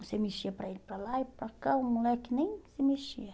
Você mexia para ele para lá e para cá, o moleque nem se mexia.